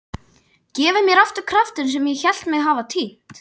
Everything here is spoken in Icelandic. Gefið mér aftur kraftinn sem ég hélt mig hafa týnt.